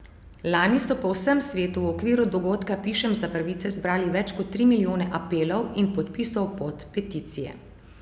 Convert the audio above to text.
Lani so po vsem svetu v okviru dogodka Pišem za pravice zbrali več kot tri milijone apelov in podpisov pod peticije.